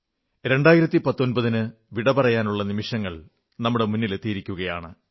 2019 വിട പറയാനുള്ള നിമിഷങ്ങൾ നമ്മുടെ മുന്നിലെത്തിയിരിക്കയാണ്